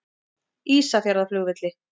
Ísafjarðarflugvelli